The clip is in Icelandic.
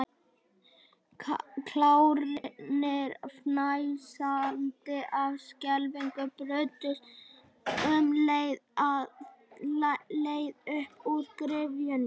Klárarnir, fnæsandi af skelfingu, brutust um í leit að leið upp úr gryfjunni.